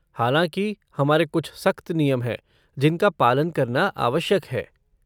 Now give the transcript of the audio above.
हालाँकि, हमारे कुछ सख्त नियम हैं जिनका पालन करना आवश्यक है।